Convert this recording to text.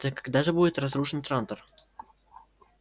так когда же будет разрушен трантор